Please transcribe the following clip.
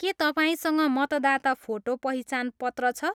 के तपाईँसँग मतदाता फोटो पहिचान पत्र छ?